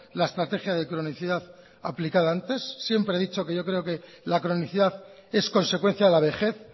la estrategia de cronicidad aplicada antes siempre he dicho que yo creo que la cronicidad es consecuencia de la vejez